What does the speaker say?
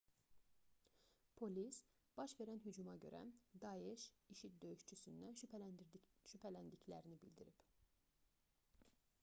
polis baş verən hücuma görə daeş i̇şi̇d döyüşçüsündən şübhələndiklərini bildirib